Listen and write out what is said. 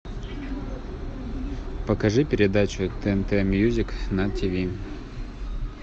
покажи передачу тнт мьюзик на тв